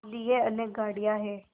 लिए अनेक गाड़ियाँ हैं